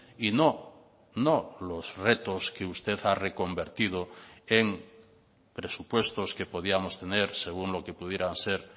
y no no los retos que usted ha reconvertido en presupuestos que podíamos tener según lo que pudiera ser